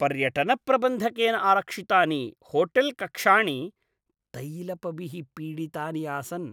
पर्यटनप्रबन्धकेन आरक्षितानि होटेल्कक्षाणि तैलपभिः पीडितानि आसन्।